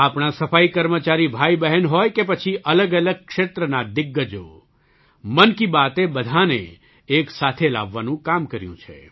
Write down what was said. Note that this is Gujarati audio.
આપણાં સફાઈ કર્મચારી ભાઈબહેન હોય કે પછી અલગઅલગ ક્ષેત્રના દિગ્ગજો મન કી બાતએ બધાંને એક સાથે લાવવાનું કામ કર્યું છે